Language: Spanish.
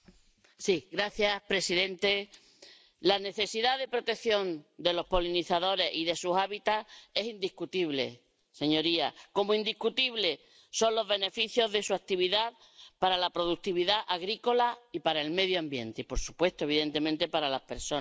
Señor presidente, la necesidad de protección de los polinizadores y de sus hábitats es indiscutible, señorías, como indiscutibles son los beneficios de su actividad para la productividad agrícola y para el medio ambiente y, por supuesto, evidentemente, para las personas.